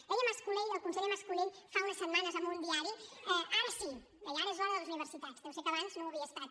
deia mas colell el conseller mas colell fa unes setmanes en un diari ara sí deia ara és l’hora de les universitats deu ser que abans no ho havia estat